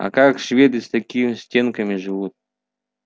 а как шведы с такими стенками живут